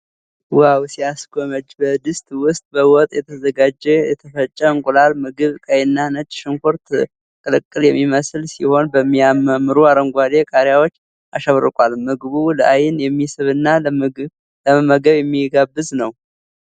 ዋው ሲያስጎመጅ! በድስት ውስጥ በወጥ የተዘጋጀ የተፈጨ የእንቁላል ምግብ። ቀይና ነጭ ሽንኩርት ቅልቅል የሚመስል ሲሆን በሚያማምሩ አረንጓዴ ቃሪያዎች አሸብርቋል። ምግቡ ለዐይን የሚስብና ለመመገብ የሚጋብዝ ነው።